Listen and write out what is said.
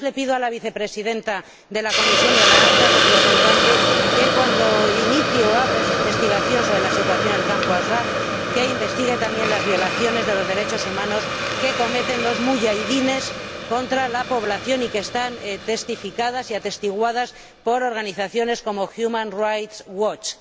Y además, le pido a la Vicepresidenta de la Comisión y Alta Representante que, cuando inicie o abra esa investigación sobre la situación en el campo de Ashraf, investigue también las violaciones de los derechos humanos que cometen los muyaidines contra la población, y que están testificadas y atestiguadas por organizaciones como Human Rights Watch.